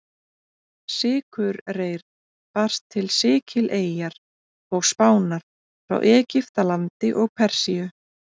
Sykurreyr barst til Sikileyjar og Spánar frá Egyptalandi og Persíu.